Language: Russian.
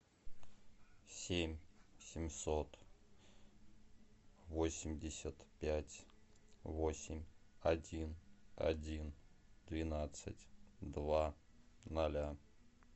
семь семьсот восемьдесят пять восемь один один двенадцать два ноля